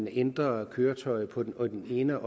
ændrer køretøjet på den ene